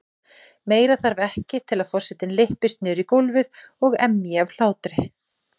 Meira þarf ekki til að forsetinn lyppist niður í gólfið og emji af hlátri.